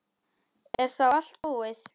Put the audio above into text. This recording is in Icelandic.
Er þá allt búið?